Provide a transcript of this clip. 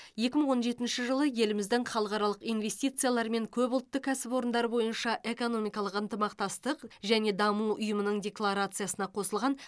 екі мың он жетінші жылы еліміздің халықаралық инвестициялар мен көпұлтты кәсіпорындар бойынша экономикалық ынтымақтастық және даму ұйымының декларациясына қосылған